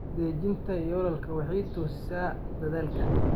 Dejinta yoolalka waxay toosisaa dadaalka.